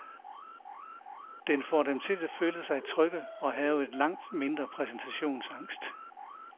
Den får dem til at føle sig trygge og have langt mindre præstationsangst.